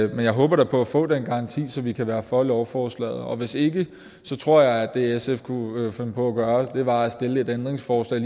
jeg håber da på at få den garanti så vi kan være for lovforslaget og hvis ikke tror jeg at det sf kunne finde på at gøre var at stille et ændringsforslag